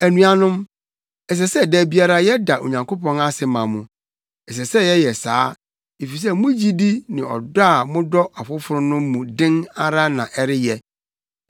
Anuanom, ɛsɛ sɛ da biara yɛda Onyankopɔn ase ma mo. Ɛsɛ sɛ yɛyɛ saa, efisɛ mo gyidi ne ɔdɔ a modɔ afoforo no mu den ara na ɛreyɛ.